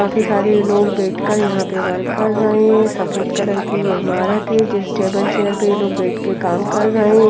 काफी सारे लोग बैठकर यहां पे वर्क कर रहे हैं। सफेद कलर की यह इमारत है जिस टेबल चेयर पर ये लोग बैठ कर ये लोग काम कर रहे हैं।